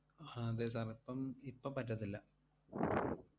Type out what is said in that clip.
ആഹ് അതെ sir ന് ഇപ്പം ഇപ്പം പറ്റത്തില്ല.